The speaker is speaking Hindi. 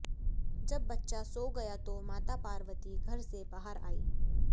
जब बच्चा सो गया तो माता पार्वती घर से बाहर आईं